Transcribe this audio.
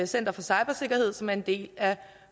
center for cybersikkerhed som er en del af